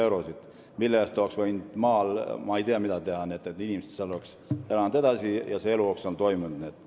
Selle raha eest oleks võinud maal palju teha, et need inimesed oleks seal edasi elanud ja et elu oleks seal toiminud.